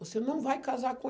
Você não vai casar com